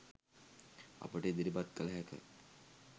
අපට ඉදිරිපත් කළ හැක.